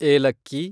ಏಲಕ್ಕಿ